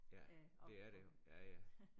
Ja det er det jo ja ja